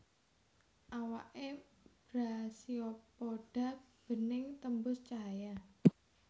Awaké Brachiopoda bening tembus cahaya